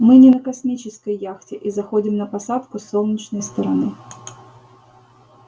мы не на космической яхте и заходим на посадку с солнечной стороны